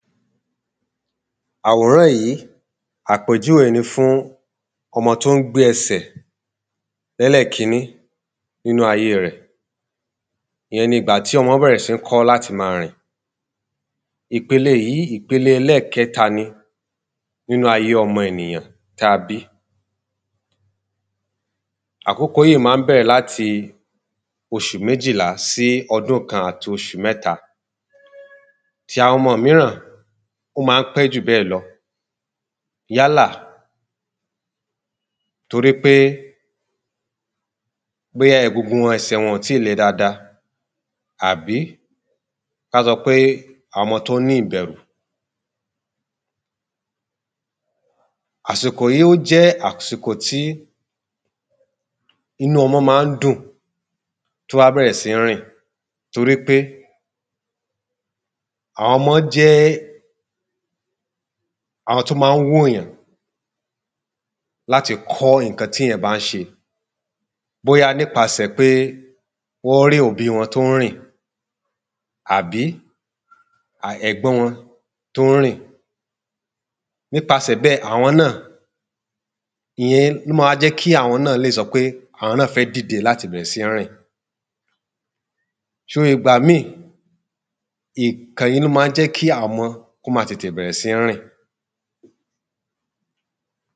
Àwòrán yìí, àpèjúwé ni fún ọmọ t’ó ń gbé ẹsẹ̀ lẹ́lẹ̀kiní nínu ayé rẹ̀. Ìyẹn ni ìgbà tí ọmọ bẹ̀rẹ̀ sí ń kọ́ l’áti ma rìn. Ìpele yìí ẹlẹ́kẹta ni nínu ayé ọmọ ènìyàn. Àkókò yíì má ń bẹ̀rẹ̀ l’áti oṣù mejìla sí ọdún kan àti oṣù mẹ́ta. Ti àwọn ọmọ míràn ó má ń pé jù bẹ́ẹ̀ lọ. Yálà torí pé bóyá egungun ẹsẹ̀ wọn ò tíì le dada àbí ká sọ pé ọmọ t’ó ní ìbẹ̀rù. Àsìkò yí ó jẹ́ àsìkò tí inú ọmọ má ń dùn t’ó bá bẹ̀rẹ̀ sí ń rìn t’ó rí pé àwọn ọmọ jẹ́ àwon t’ó ma ń wò yàn láti kọ́ ìnkan tí ‘yàn bá ń ṣe Bóyá nípasẹ̀ pé wọ́n rí òbí wọn t’ó ń rìn àbí ẹ̀gbọ́n wọn t’ó ń rìn Nípasẹ̀ bẹ́ẹ̀, àwọn náà Ìyẹn ló ma jẹ́ kí àwọn náà lè sọ pé àwọn náà fẹ́ dìde l’áti bẹ̀rẹ̀ sí ń rìn ṣó ìgbà míì, ìkàn yìí ló ma jẹ́ kí àwọn ọmo kó ma bẹ̀rẹ̀ sí rìn